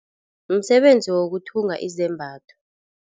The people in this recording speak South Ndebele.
Msebenzi wokuthunga izembatho.